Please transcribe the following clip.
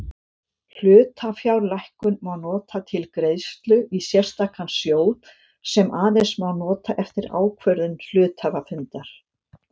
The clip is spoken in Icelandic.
Hlutafjárlækkun má nota til greiðslu í sérstakan sjóð sem aðeins má nota eftir ákvörðun hluthafafundar.